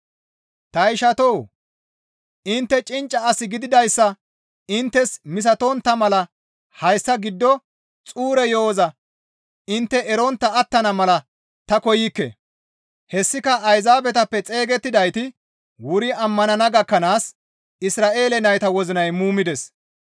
Ta ishatoo! Intte cincca as gididayssa inttes misatontta mala hayssa giddo xuura yo7oza intte erontta attana mala ta koykke. Hessika Ayzaabetappe xeygettidayti wuri ammanana gakkanaas Isra7eele nayta wozinay muumides.